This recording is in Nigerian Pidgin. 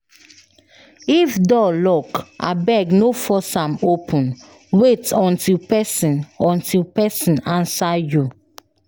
If door lock, abeg no force am open, wait until pesin until pesin answer you.